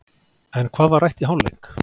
En hvað var rætt í hálfleik?